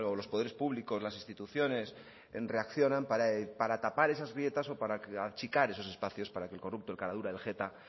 los poderes públicos las instituciones en reaccionan para tapar esas grietas o para achicar esos espacios para que el corrupto el caradura el jeta